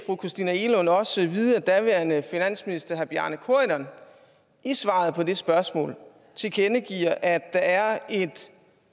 fru christina egelund også vide at daværende finansminister herre bjarne corydon i svaret på det spørgsmål tilkendegiver at der er et